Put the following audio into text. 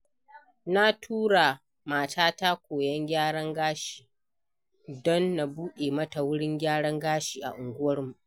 Na tura matata koyon gyaran gashi don na buɗe mata wurin gyaran gashi a unguwarmu.